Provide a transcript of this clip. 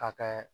Ka kɛ